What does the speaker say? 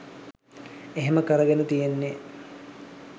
එහෙම කරගෙන තියෙන්නෙ